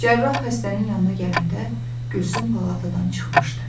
Cərrah xəstənin yanına gələndə, Gülsüm palatadan çıxmışdı.